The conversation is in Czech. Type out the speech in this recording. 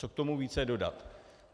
Co k tomu více dodat?